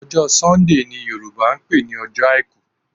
Ọjọ́ Sunday ni Yorùbá ń pè ní ọjọ́ àìkú